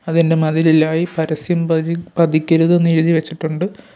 അതിൻ്റെ മതിലിലായി പരസ്യം പതി പതിക്കരുത് എന്ന് എഴുതിവെച്ചിട്ടുണ്ട്.